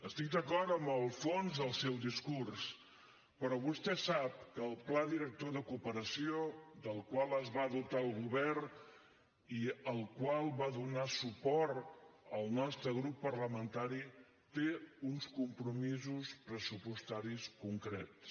estic d’acord amb el fons del seu discurs però vostè sap que el pla director de cooperació del qual es va dotar el govern i al qual va donar suport el nostre grup parlamentari té uns compromisos pressupostaris concrets